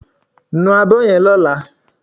Nu abọ́ yen lọ́lá